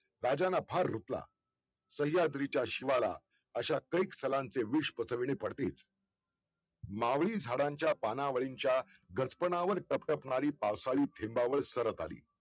राजांना फार रुतला सह्याद्रीच्या शिवाला अशा कैक सलांचे विष पचविणे पडतेच! मावळी झाडांच्या पाणावळींच्या गचपणावर तप्तपणारी पावसाळी थेंबावर सरत आली